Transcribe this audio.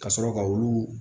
Ka sɔrɔ ka olu